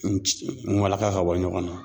N jigin , n walaka ka bɔ ɲɔgɔn na.